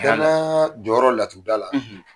Danaya jɔyɔrɔ laturu da la